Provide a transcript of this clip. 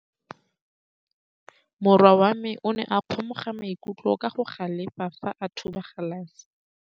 Morwa wa me o ne a kgomoga maikutlo ka go galefa fa a thuba galase.